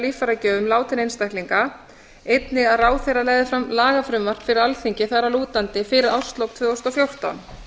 líffæragjöfum látinna einstaklinga einnig að ráðherra legði fram lagafrumvarp fyrir alþingi þar að lútandi fyrir árslok tvö þúsund og fjórtán